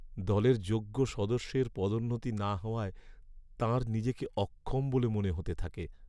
দলের যোগ্য সদস্যের পদোন্নতি না হওয়ায় তাঁর নিজেকে অক্ষম বলে মনে হতে থাকে।